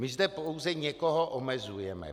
My zde pouze někoho omezujeme.